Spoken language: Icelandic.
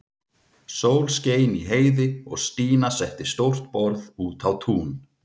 Sól skein í heiði og Stína setti stórt borð út á tún.